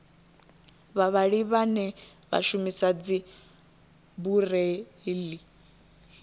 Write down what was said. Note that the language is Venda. vhavhali vhane vha shumisa dzibureiḽi